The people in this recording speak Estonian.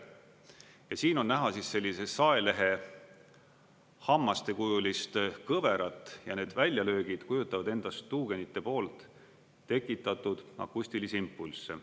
Ja siin on näha sellise saelehehammastekujulist kõverat ja need väljalöögid kujutavad endast tuugenite poolt tekitatud akustilisi impulsse.